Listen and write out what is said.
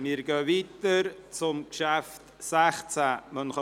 Wir fahren weiter und kommen zum Traktandum 16: